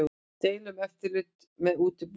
Deila um eftirlit með útibúum